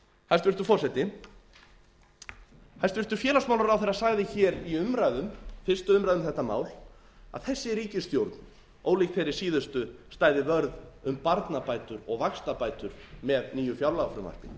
hæstvirtur forseti hæstvirtur félagsmálaráðherra sagði hér í umræðum fyrstu umræðu um þetta mál að þessi ríkisstjórn ólík þeirri síðustu stæði vörð um barnabætur og vaxtabætur með nýju fjárlagafrumvarpi